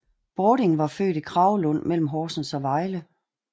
Bording var født i Kragelund mellem Horsens og Vejle